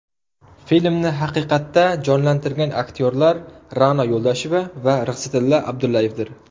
Filmni haqiqatda jonlantirgan aktyorlar Ra’no Yarasheva va Rixsitilla Abdullayevdir.